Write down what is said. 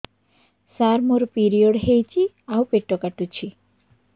ସାର ମୋର ପିରିଅଡ଼ ହେଇଚି ଆଉ ପେଟ କାଟୁଛି